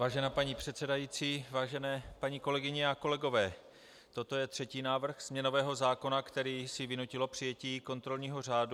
Vážená paní předsedající, vážené paní kolegyně a kolegové, toto je třetí návrh změnového zákona, který si vynutilo přijetí kontrolního řádu.